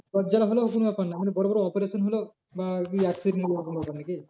জ্বর জ্বালা হলেও কোনো ব্যাপার না মানে বড়ো বড়ো operation হলেও বা এই accident হলো এরকম ব্যাপার নাকি?